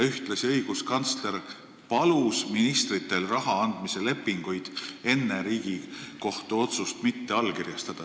Ühtlasi palus õiguskantsler ministritel raha andmise lepinguid enne Riigikohtu otsust mitte allkirjastada.